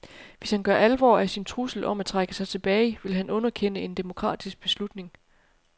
Hvis han gør alvor af sin trussel om at trække sig tilbage, vil han underkende en demokratisk beslutning.